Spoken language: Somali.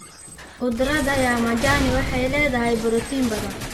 Khudradda ya majani waxay leedahay borotiin badan.